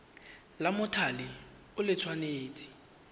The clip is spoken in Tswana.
la mothale o le tshwanetse